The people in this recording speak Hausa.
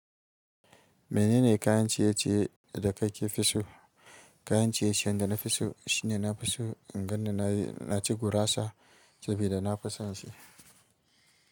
Menene kayan ciye-ciye da kake fi so? Kayan ciye-ciyen da na fi so shine nafi so in ganni na yi, na ci gurasa sabida na fi son shi.